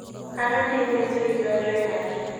kanyo piny Misri donjoe nade?